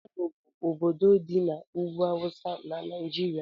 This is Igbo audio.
Kano bụ ọbọdọ dị n'ugwú awụsa n'naijiria.